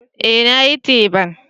Eh nayi teban.